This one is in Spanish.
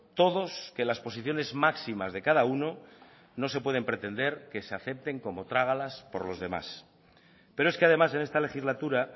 todos que las posiciones máximas de cada uno no se pueden pretender que se acepten como trágalas por los demás pero es que además en esta legislatura